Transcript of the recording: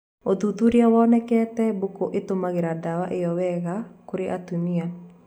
Ũthuthuria wonekete mbũkũ ĩtũmiraga dawa ĩo wega kũrĩ atumia